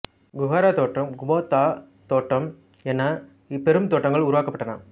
குகாரா தோட்டம் குபோத்தா தோட்டம் என பெரும் தோட்டங்கள் உருவாக்கப்பட்டன